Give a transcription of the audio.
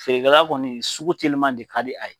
Feerekɛla kɔni sugu telima de ka di a ye.